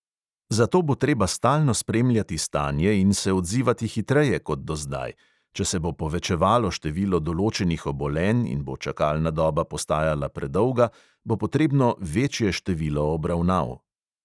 Zato bo treba stalno spremljati stanje in se odzivati hitreje kot do zdaj; če se bo povečevalo število določenih obolenj in bo čakalna doba postajala predolga, bo potrebno večje število obravnav.